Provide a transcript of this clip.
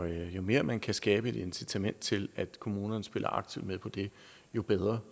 jo mere man kan skabe et incitament til at kommunerne spiller aktivt med på det jo bedre